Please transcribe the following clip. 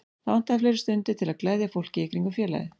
Það vantaði fleiri stundir til að gleðja fólkið í kringum félagið.